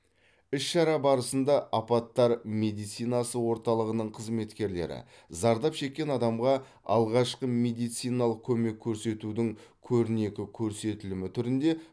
іс шара барысында апаттар медицинасы орталығының қызметкерлері зардап шеккен адамға алғашқы медициналық көмек көрсетудің көрнекі көрсетілімі түрінде